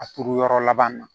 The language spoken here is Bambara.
A turu yɔrɔ laban na